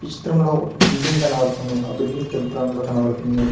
ఈ చిత్రంలో ఒక బిల్డింగ్ కనబడుతున్నది ఆ బిల్డింగ్ తెలుపు రంగులో కనబడుతున్నది.